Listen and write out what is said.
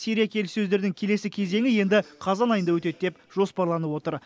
сирия келіссөздерінің келесі кезеңі енді қазан айында өтеді деп жоспарланып отыр